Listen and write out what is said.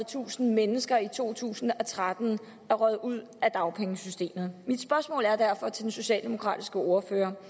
tusind mennesker i og to tusind og tretten er røget ud af dagpengesystemet mit spørgsmål til den socialdemokratiske ordfører